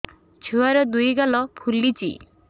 ଛୁଆର୍ ଦୁଇ ଗାଲ ଫୁଲିଚି